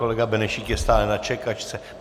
Kolega Benešík je stále na čekačce.